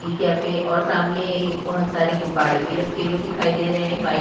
T cafe और सामने बोहोत सारे गुब्बारे भी रखे हुए दिखाई दे रहे हैं। बाइक --